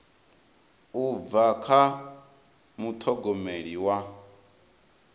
u bva kha muṱhogomeli wa